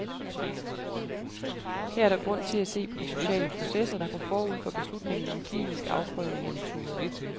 Her er der grund til at se på de sociale processer, der går forud for beslutninger om klinisk afprøvning af metoder.